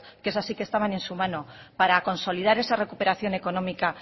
que esas sí que estaban en su mano para consolidar esa recuperación económica